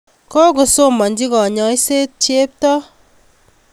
Kopkosomanchi kanyaiset Cheptoo